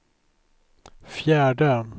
fjärde